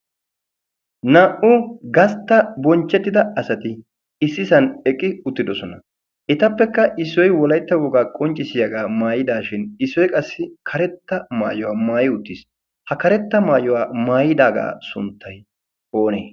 naa'u gastta bonchchettida asati issi san eqqi uttidosona. etappekka issoi wolaitta woogaa qonccisiyaagaa maayidaashin issoi qassi karetta maayuwaa maayi uttiis. ha karetta maayuwaa maayidaagaa sunttai oonee?